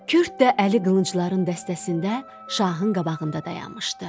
Kürd də əli qılıncların dəstəsində şahın qabağında dayanmışdı.